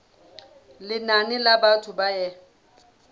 lenane la batho ba e